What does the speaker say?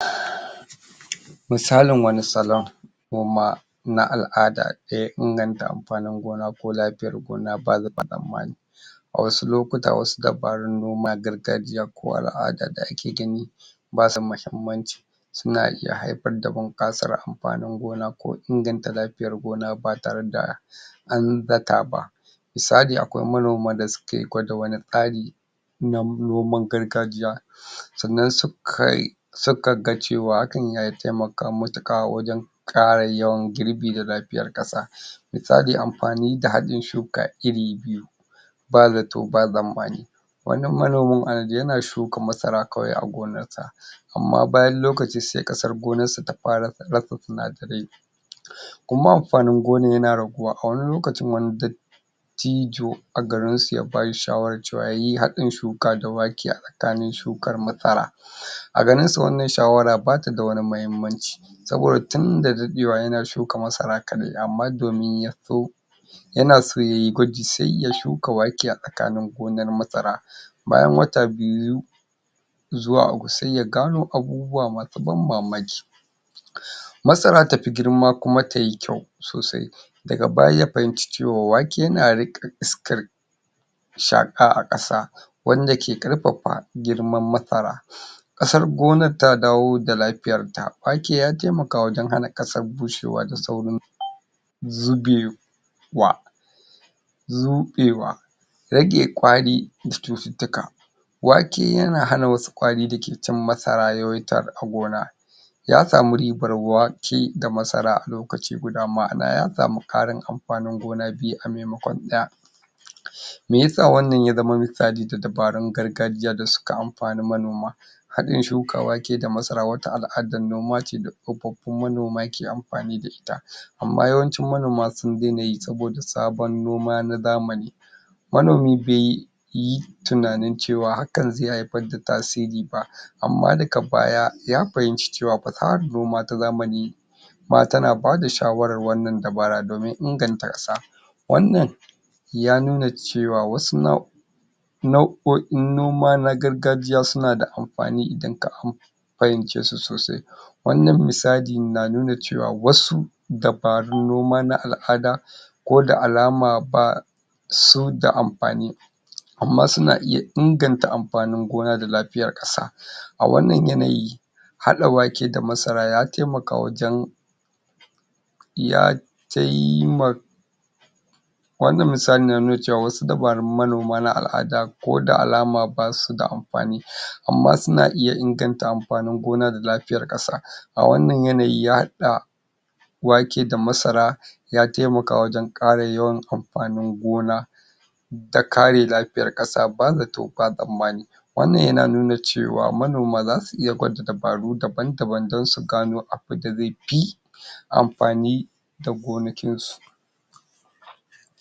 Misalin wani salon noma na al'ada da ya inganta amfanin gona ko lafiyar gona ba zato ba tsammani a wasu lokuta wasu dabarun noma na gargajiya ko al'ada da ake gani basu mahimmanci suna iyahaifar da bunƙasar amfani gona ko inganta lafiyar gona ba tare da an zata ba. Misali akwai manoman da ke gwada wani tsari na noman gargajiya sannan su kai suka ga cewa hakan ya atimaka matuƙa wajen ƙara yawan girbi da lafiyar ƙasa misali amfani da haɗin shuka iri biyu ba zato ba tsammani wannan manomin yana shuka masara kawai a gonarsa amma bayan lokaci sai ƙasar gonarsa ta fara tsira sa sinadarai kuma amfanin gonar yana raguwa a wani lokacin dattijo a garinsu ya ba shi shawarar cewa ya yi haɗin shuka da wake a tsakanin shukar masara a ganin su wannan shawara ba ta da wani muhimmanci saboda tun da daɗewa yana shuka masara kaɗai amma domin ya so ya na so yayi gwaji sai ya shuka wake a tsakanin gonar masara bayan wata biyu zuwa uku sai ya gano abubuwa masu ban mamaki Masara tafi girma kuma ta yi kyau sosai, daga baya ya fahimci cewa wake yana riƙe iskar shaƙa a ƙasa wanda ke ƙarfafa girman masara ƙasar gonar ta dawo da lafiyarta, wake ya taimaka wajen hana ƙasar saurin bushewa da sauri zuge wa zuƙewa rage ƙwari da cututtuka. Wake yana hana wasu ƙwari da ke cin masara yawaita a gona. Ya samu ribar wake da masara alokaci guda ma'ana ya samu ƙarin amfanin gona biyu a maimakon ɗaya. me ya sa wannan ya zama wani tsari da dabarun gargajiya da suka amfani manoma Haɗin shuka wake da masara wata al'adar noma ce da tsofaffin manoma ke amfani da ita amma yawancin manoma sun daina yi saboda sabon noma na zamani. Manomi bai yi tunani cewa hakan zai haifar da tasiri ba Amma daga baya ya fahimci cewa fasahar noma ta zamani ma tana ba da shawarar wannan dabarar domin inganta ƙasa, Wannan ya nuna cewa wasu nau nau'o'in noma na gargajiya suna da amfani idan ka am fahimce su sosai, wannan na nuna cewa wasu dabarun noma na al'ada ko da alama ba su da amfani amma suna iya inganta amfanin gona da lafiyar ƙasa. A wannan yanayi haɗa wake da masara ya taimaka wajen ya taimaka a wannan misalin na nuna cewa wasu dabarun manoma na al'ada ko da alama ba su da amfani Amma suna iya inganta amfanin gona da lafiyar ƙasa a wannan yanayin ya haɗa wake da masara ya taimaka wajen ƙara yawan amfanin gona da kare lafiyar ƙasa ba zato ba tsammani wannan yana nuna cewa manoma za su iya gwada dabaru daban-daban don su gano abinda zai fi amfani da gonakinsu.